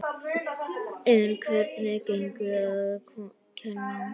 En hvernig gengur að kenna?